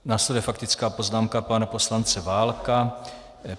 Následuje faktická poznámka pana poslance Válka.